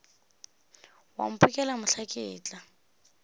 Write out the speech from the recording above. wa mphokela mohla ke tla